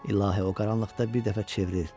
İlahi, o qaranlıqda bir dəfə çevrilir.